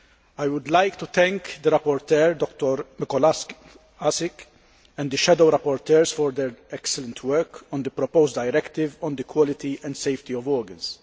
I would like to thank the rapporteur, Dr Mikolášik, and the shadow rapporteurs for their excellent work on the proposed directive on the quality and safety of organs.